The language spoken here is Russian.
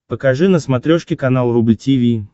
покажи на смотрешке канал рубль ти ви